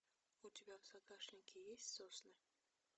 у тебя в загашнике есть сосны